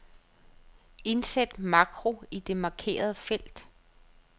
Indsæt makro i det markerede felt.